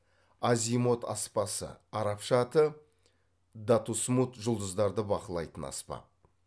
азимот аспасы арабша аты датусмуд жұлдыздарды бақылайтын аспап